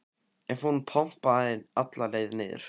ef hún pompaði alla leið niður.